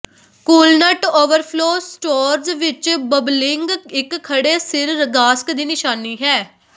coolant overflow storage ਵਿੱਚ bubbling ਇੱਕ ਖੜ੍ਹੇ ਸਿਰ ਗਾਸਕ ਦੀ ਨਿਸ਼ਾਨੀ ਹੈ